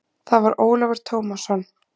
Það var Ólafur Tómasson.